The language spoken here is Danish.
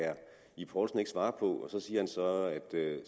herre ib poulsen ikke svare på siger så at